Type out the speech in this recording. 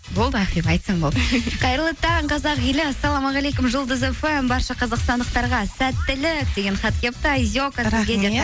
болды ақбибі айтсаң болды қайырлы таң қазақ елі ассалаумағалейкум жұлдыз фм барша қазақстандықтарға сәттілік деген хат келіпті айзека